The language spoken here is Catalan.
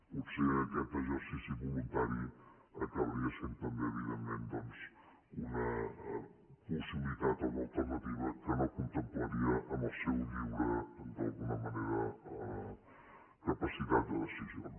potser aquest exercici voluntari acabaria sent també evidentment una possibilitat o una alternativa que no contemplaria en la seva lliure d’alguna manera capacitat de decisió